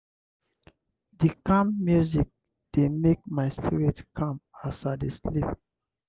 di calm music dey make my spirit calm as i dey sleep.